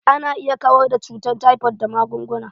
Ana iya kawar da cutan taifot da magunguna